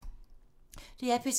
DR P3